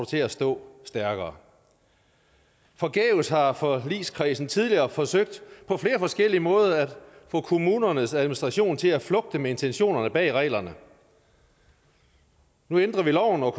til at stå stærkere forgæves har forligskredsen tidligere forsøgt på flere forskellige måder at få kommunernes administration til at flugte med intentionerne bag reglerne nu ændrer vi loven og